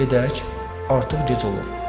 Gedək, artıq gec olur.